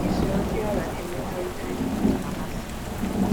Isoro ndị ọrịa na - emekọrịta ihe na - amasị m. ”